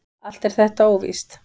Allt er þetta óvíst.